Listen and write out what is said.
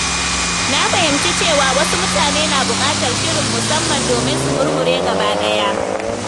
Na fahimci cewa wasu mutane na buƙatar shirin musamman domin su murmure gaba ɗaya.